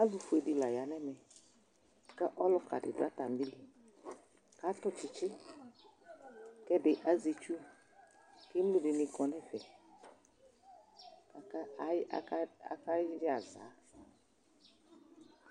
Ɔlʋfue dɩ la ya nʋ ɛmɛ kʋ ɔlʋka dɩ dʋ atamɩ ɩɩlɩ Atʋ tsɩtsɩ kʋ ɛdɩ azɛ itsu Piŋg dɩnɩ kɔ nʋ ɛfɛ kʋ aka aya akayɛ aza